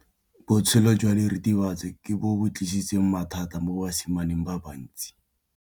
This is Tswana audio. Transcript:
Botshelo jwa diritibatsi ke bo tlisitse mathata mo basimaneng ba bantsi.